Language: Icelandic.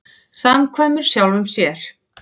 Samkvæmur sjálfum sér.